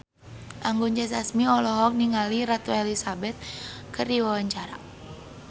Anggun C. Sasmi olohok ningali Ratu Elizabeth keur diwawancara